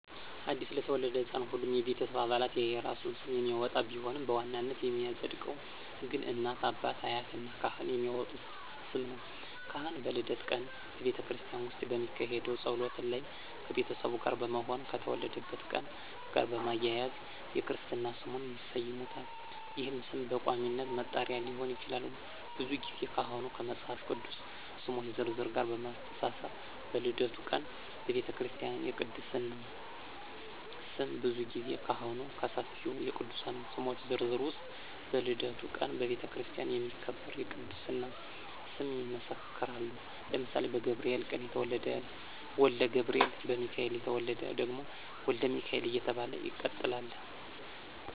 አዲስ ለተወለደ ሕፃን ሁሉም የቤተሰብ አባላት የየራሱን ስም የሚያወጣ ቢሆንም በዋናነት የሚፀድቀው ግን እናት፣ አባት፣ አያት እና ካህን የሚያወጡት ስም ነው። ካህን በልደት ቀን በቤተክርስቲያን ውስጥ በሚካሄደው ጸሎት ላይ ከቤተሰቡ ጋር በመሆን ከተወለደበት ቀን ጋር በማያያዝ የክርስትና ስሙን ይሰይሙታል ይህም ስም በቋሚነት መጠሪያ ሊሆን ይችላል። ብዙ ጊዜ ካህኑ ከመፃፍ ቅዱስ ስሞች ዝርዝር ጋር በማመሳከር በልደቱ ቀን በቤተክርስቲያ የቅድስና ስም ብዙ ጊዜ ካህኑ ከሰፊው የቅዱሳን ስሞች ዝርዝር ውስጥ በልደቱ ቀን በቤተክርስቲያን የሚከበር የቅድስና ስም ይመሰክራሉ ለምሳሌ በገብርኤል ቀን የተወለደ ወልደ ገብርኤል፣ በሚካኤል የተወለደ ደግሞ ወልደ ሚካኤል እየተባለ ይቀጥላለ።